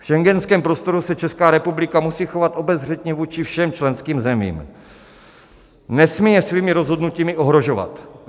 V schengenském prostoru se Česká republika musí chovat obezřetně vůči všem členským zemím, nesmí je svými rozhodnutími ohrožovat.